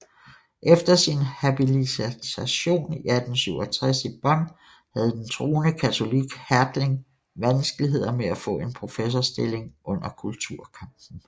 Efter sin habilitation i 1867 i Bonn havde den troende katolik Hertling vanskeligheder med at få en professorstilling under kulturkampen